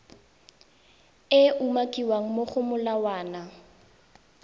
e umakiwang mo go molawana